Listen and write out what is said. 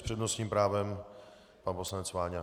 S přednostním právem pan poslanec Váňa.